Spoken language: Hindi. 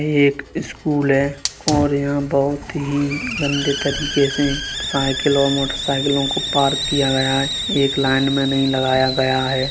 यह एक स्कूल है और यह बहुत ही गंदे तरीके से साइकिल और मोटरसाइकिल को पार्क किया गया है एक लाइन में नहीं लगाया गया है।